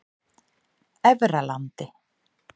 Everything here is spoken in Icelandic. Efralandi